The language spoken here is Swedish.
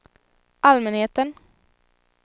allmänheten